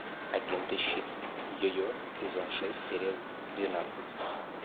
агенты щит йо йо сезон шесть серия двенадцать